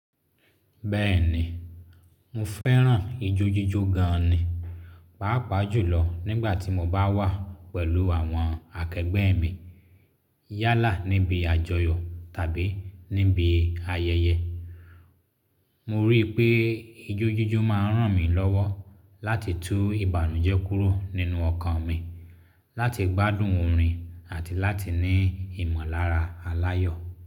Bẹ́ẹ̀ni, mo fẹ́ràn ijó jíjó gan ni, pàápàá jùlọ nígbà tí mo bá wà pẹ̀lú àwọn akẹgbẹ́ mi yálà níbi àjọyọ̀ tàbí níbi ayẹyẹ. Mo rí i pé ijó jíjó máa ràn mí lọ́wọ́ láti tú ìbànújẹ́ kúrò nínú ọkàn mi, láti gbádùn orin àti láti ní ìmọ̀lára aláyọ̀.